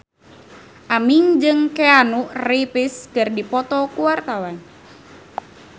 Aming jeung Keanu Reeves keur dipoto ku wartawan